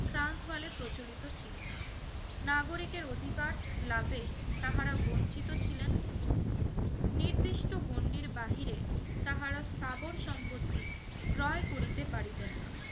trans বালে প্রচলিত ছিলো নাগরিকের অধিকার লাভে তাহারা বঞ্চিত ছিলেন নিদিষ্ট গণ্ডির বাহিরে তাহারা স্থাবর সম্পর্তি ক্রয় করিতে পারিতেন না